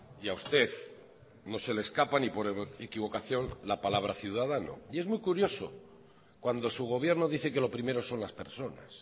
y a usted no se le escapa ni por equivocación la palabra ciudadano y es muy curioso cuando su gobierno dice que lo primero son las personas